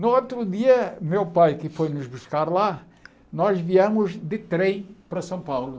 No outro dia, meu pai que foi nos buscar lá, nós viemos de trem para São Paulo.